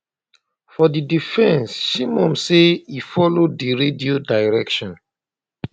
for di fence shimon say e follow di radio dierctions